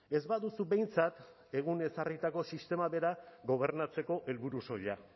ez baduzu behintzat egun ezarritako sistema bera gobernatzeko helburu soila